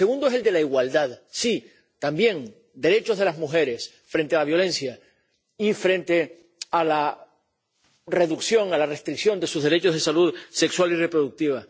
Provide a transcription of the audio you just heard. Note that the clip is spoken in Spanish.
El segundo es el de la igualdad sí, también, derechos de las mujeres frente a la violencia y frente a la reducción, a la restricción de sus derechos de salud sexual y reproductiva.